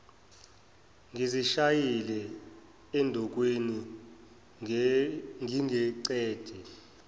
ngizishayile endukwini ngingengcede